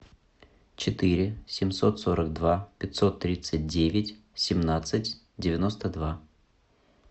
четыре семьсот сорок два пятьсот тридцать девять семнадцать девяносто два